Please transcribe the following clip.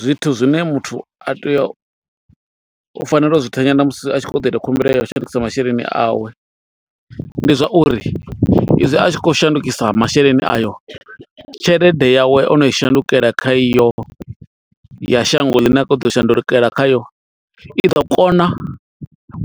Zwithu zwine muthu a tea, u fanela u zwi thanyela musi a tshi khou ṱoḓa u ita khumbelo ya u shandukisa masheleni awe. Ndi zwa uri i zwi a tshi khou shandukisa masheleni ayo, tshelede yawe o no i shandukela kha iyo ya shango ḽine a khou ḓo shandukela khayo. I ḓo kona